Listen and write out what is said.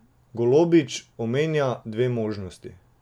Golobič omenja dve možnosti.